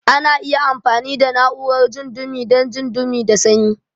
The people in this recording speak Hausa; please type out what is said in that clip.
Ana amfani da na'urar jin dumi dan jin dumi da sanyi.